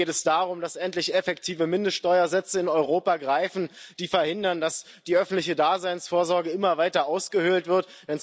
Mir geht es darum, dass endlich effektive Mindeststeuersätze in Europa greifen, die verhindern, dass die öffentliche Daseinsvorsorge immer weiter ausgehöhlt wird.